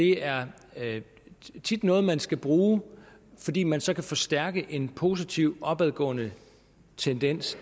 er noget man skal bruge fordi man så kan forstærke en positiv opadgående tendens